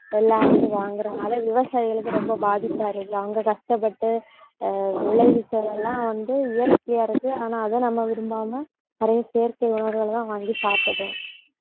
எல்லாரும் வாங்கறதுனால, விவசாயிகளுக்கு ரொம்ப பாதிப்பா இருக்கு. அவங்க கஷ்டப்பட்டு அஹ் விளைவிச்சது எல்லாம் வந்து இயற்கையா இருக்கு. ஆனா, அதை நம்ம விரும்பாம நிறைய செயற்கை உணவுகளைத் தான் வாங்கி சாப்பிடறோம்